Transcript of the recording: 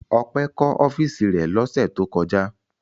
Ọpẹ́ kọ́ ọ́fíísì rẹ̀ lọ́sẹ̀ tó kọjá.